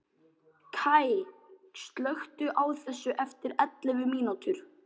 Kaj, slökktu á þessu eftir ellefu mínútur.